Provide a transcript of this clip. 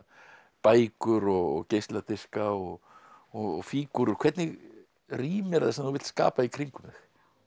bækur og geisladiska og og fígúrur hvernig rými er það sem þú vilt skapa í kringum þig